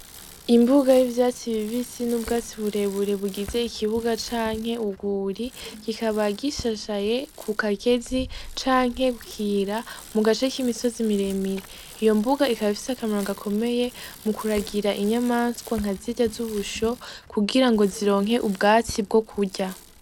Imbuga yivyatsi bibisi n'ubwatsi burebure bugize ikibuga canke urwuri kikaba gishashaye kukagezi canke kukira mugace k'imisozi miremire iyo mbuga ikaba ifise akamaro gakomeye mu kuragira inyamanswa nkazirya z'ubusho kugira ngo zironke ubwatsi bwo kurya